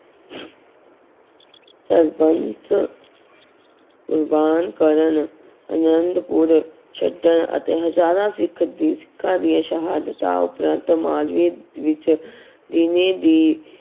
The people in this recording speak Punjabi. ਸਰਬੰਸ ਕੁਰਬਾਨ ਕਰਨ ਆਨੰਦਪੁਰ ਛੱਡਣ ਅਤੇ ਹਜ਼ਾਰਾ ਸਿੱਖ ਸਿੱਖਾਂ ਦੀਆਂ ਸ਼ਹਾਦਤਾਂ ਉਪਰੰਤ ਮਾਲਵੇ ਵਿੱਚ ਦੀ